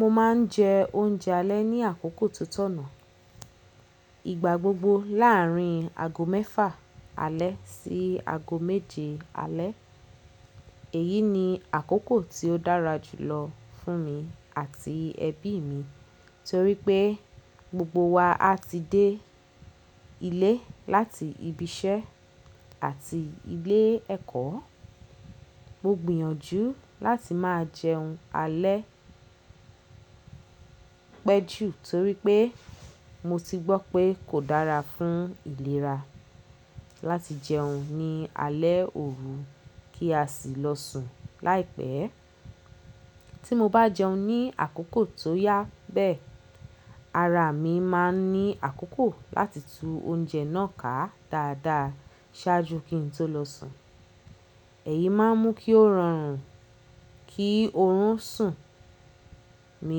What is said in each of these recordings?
Mo ma n jẹ oúnjẹ alẹ́ ní àkókò tó tọ̀nà. Ìgbà gbogbo láàrin ago mẹ́fà alẹ́ sí ago méje alẹ́. Èyí ni àkókò tí ó dára jùlọ fún mi àti ẹbí mi torípé gbogbo wa a ti dé ilé láti ibi iṣẹ́ àti ilé ẹ̀kọ́. Mo gbìyànjú láti máa jẹun alẹ́ Pẹ́ jù torípé mo ti gbọ́ pé kò dára fún ìlera láti jẹun ní alẹ́ òru kí a sì lọ sùn láìpẹ́. Tí mo bá jẹun ní àkókò tó yá beẹ́, ara mi ma n ní àkókò láti tú oúnjẹ náà ká dáadáa ṣáájú kí n tó lọ sùn. Eyí má n mú kí ó rọrùn kí orún sùn mi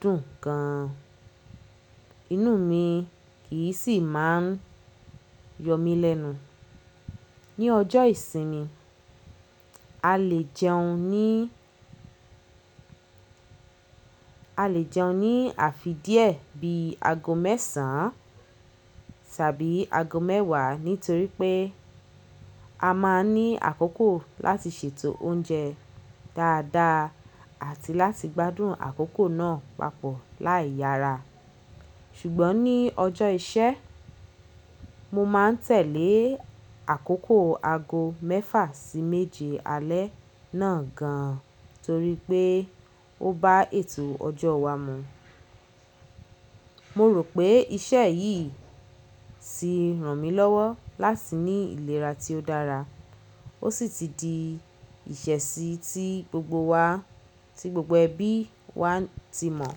dùn gan-an, inú mi kì í sì máa n yọ mí lẹ́nu. Ni ọjọ́ ìsinmi, A lè jẹun ní, a lè jẹun ní àfi díẹ̀ bí i ago mẹ́sàn-án tàbí ago mẹ́wàá nítorípeé a má n ní àkókò láti ṣètò oúnjẹ dáadáa àti láti gbádùn àkókò náà papọ̀ láì yára. Ṣùgbọ́n ní ọjọ́ iṣẹ́, mo má n tẹ̀lé àkókò ago mẹ́fà sí méje alẹ́ náà gan an torípé ó bá ètò ọjọ́ wa mọ̀. Mo rò pé iṣẹ́ yìí ti ràn mí lọ́wọ́ láti ní ìlera tí ó dára. O sì ti di ìṣesí tí gbogbo wa, tí gbogbo ẹbí wa ti mọ̀.